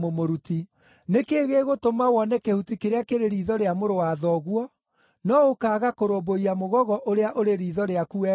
“Nĩ kĩĩ gĩgũtũma wone kĩhuti kĩrĩa kĩrĩ riitho rĩa mũrũ wa thoguo, no ũkaaga kũrũmbũiya mũgogo ũrĩa ũrĩ riitho rĩaku we mwene?